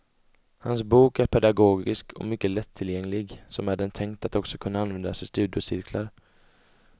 Hans bok är pedagogisk och mycket lättillgänglig, som är den tänkt att också kunna användas i studiecirklar.